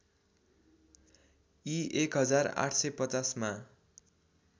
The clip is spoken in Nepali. ई १८५० मा